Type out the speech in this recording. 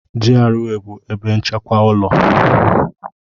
GRA bụ ebe nchekwa ụlọ.